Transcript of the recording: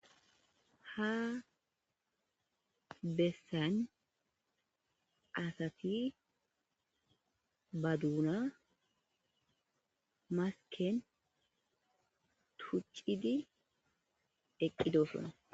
Ha bessan asati ba doona masken tuccidi eqqidosona.